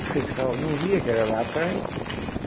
O fiscal não via que era lá atrás.